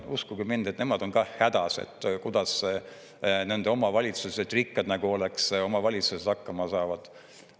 Uskuge mind, nemad on ka hädas, kuidas nende omavalitsused – rikkad nagu oleks omavalitsused – hakkama saavad.